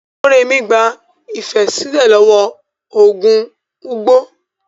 Morèmi gba Ifẹ̀ sílẹ̀ lọ́wọ́ ogun Ugbo.